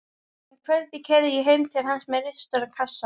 Um kvöldið keyri ég heim til hans með risastóran kassa.